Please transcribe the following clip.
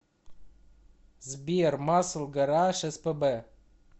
сбер масл гараж эс пэ бэ